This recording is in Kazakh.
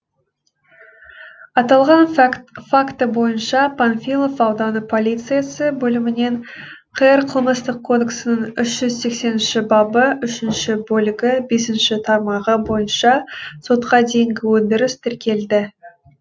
аталған факті бойынша панфилов ауданы полициясы бөлімімен қр қылмыстық кодексінің үш жүз сексенінші бабы үшінші бөлігі бесінші тармағы бойынша сотқа дейінгі өндіріс тіркелді